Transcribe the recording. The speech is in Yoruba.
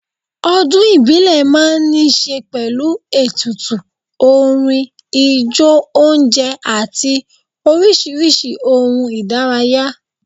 Ọdún ìbílẹ̀ máa ń ní ṣe pẹ̀lú ètùtù, orin, ijó oúnjẹ àti oríṣiríṣi ohun ìdárayá.